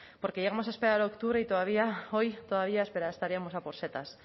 porque llegamos a esperar a octubre y todavía hoy todavía estaríamos a por setas